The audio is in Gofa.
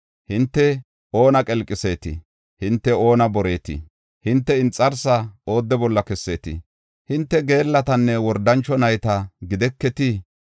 Hinte oona qelqiseetii? Hinte oona boreetiii? Hinte inxarsaa oodde bolla kesseetii? Hinte geellatanne wordancho nayta gideketii?